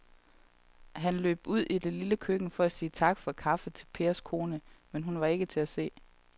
Han løb ud i det lille køkken for at sige tak for kaffe til Pers kone, men hun var ikke til at se.